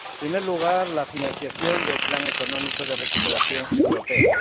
En primer lugar, la financiación del plan económico de recuperación europea.